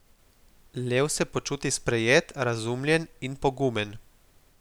Lev se počuti sprejet, razumljen in pogumen.